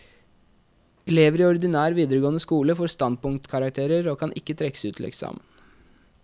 Elever i ordinær videregående skole får standpunktkarakterer, og kan ikke trekkes ut til eksamen.